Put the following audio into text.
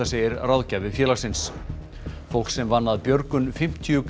segir ráðgjafi félagsins fólk sem vann að björgun fimmtíu